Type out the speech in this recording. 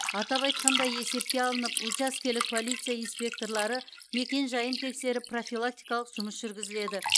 атап айтқанда есепке алынып учаскелік полиция инспекторлары мекенжайын тексеріп профилактикалық жұмыс жүргізіледі